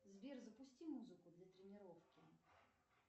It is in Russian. сбер запусти музыку для тренировки